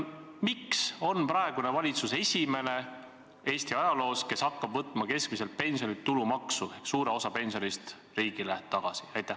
Miks on praegune valitsus esimene Eesti ajaloos, kes hakkab võtma keskmiselt pensionilt tulumaksu ehk võtab suure osa pensionist riigile tagasi?